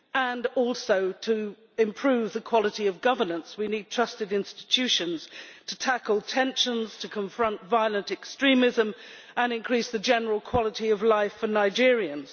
Furthermore, to improve the quality of governance, we need trusted institutions to tackle tensions, confront violent extremism and increase the general quality of life for Nigerians.